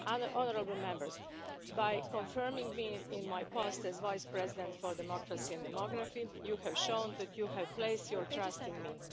Honourable Members, by confirming me in my post as Vice President for Democracy and Demography, you have shown that you have placed your trust in